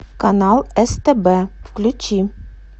канал стб включи